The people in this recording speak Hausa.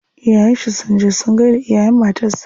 Iyayen shi sun je sun gaida iyayen matar sa.